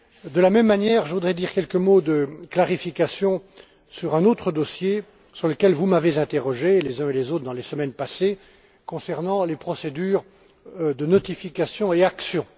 De la même manière, je voudrais dire quelques mots de clarification sur un autre dossier sur lequel vous m'avez interrogé les uns et les autres dans les semaines passées concernant les procédures de notification et d'action.